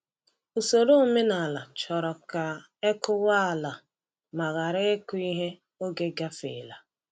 Usoro omenala chọrọ ka e kụwa ala ma ghara ịkụ ihe oge gafeela.